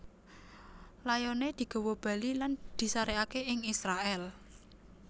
Layoné digawa bali lan disarèkaké ing Israèl